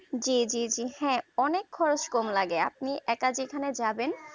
জিজিজি হ্যাঁ অনেক খরচ কম লাগে আপনি এক যেখানে যাবেন